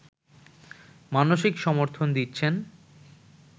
মানসিক সমর্থন দিচ্ছেন